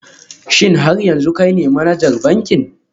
Shin har yanzu kai ne manajan bankin?